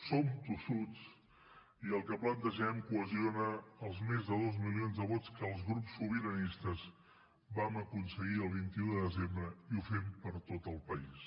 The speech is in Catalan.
som tossuts i el que plantegem cohesiona els més de dos milions de vots que els grups sobiranistes vam aconseguir el vint un de desembre i ho fem per tot el país